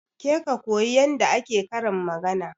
Ke ka koyi yadda ake karin magana